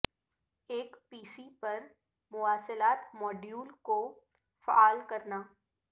ایک P C پر مواصلات ماڈیول کو فعال کرنا